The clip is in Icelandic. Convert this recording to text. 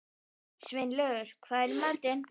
Sveinlaugur, hvað er í matinn?